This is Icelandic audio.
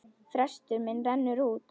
Frestur minn rennur út.